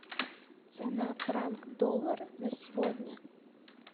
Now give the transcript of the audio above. цена франк доллара на сегодня